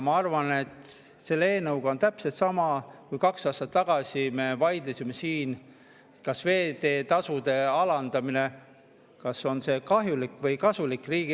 Ma arvan, et selle eelnõuga on täpselt samamoodi, nagu sellega, kui me kaks aastat tagasi vaidlesime siin, kas veeteetasude alandamine on riigieelarvele kahjulik või kasulik.